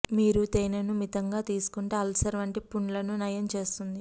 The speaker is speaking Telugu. మీరు తేనెను మితంగా తీసుకుంటే అల్సర్ వంటి పుండ్లను నయం చేస్తుంది